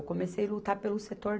Eu comecei lutar pelo setor